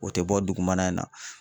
O te bɔ dugumana in na.